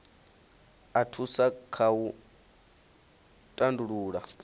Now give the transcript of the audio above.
a thusa kha u tandulula